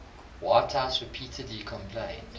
whitehouse repeatedly complained